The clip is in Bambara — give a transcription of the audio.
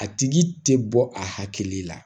A tigi tɛ bɔ akili la